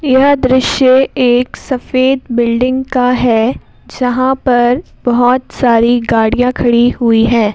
यह दृश्य एक सफेद बिल्डिंग का है जहां पर बहुत सारी गाड़ियां खड़ी हुई है।